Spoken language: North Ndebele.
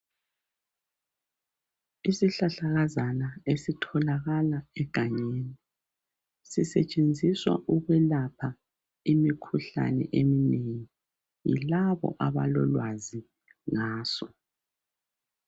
isihlahlakazana esitholakala egangeni sisetshenziswa ukwelapha imikhuhlane eminengi yilabo abalolwazi ngaso